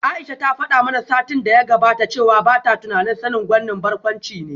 Aisha ta fada mana satin da ya gabata cewa bata tunanin Sani gwanin barkwanci ne